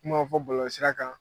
Kuma ma fɔ bɔlɔlɔsira kan.